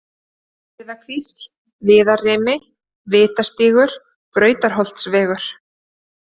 Urriðakvísl, Viðarrimi, Vitastígur, Brautarholtsvegur